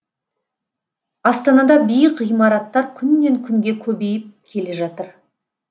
астанада биік ғимараттар күннен күнге көбейіп келе жатыр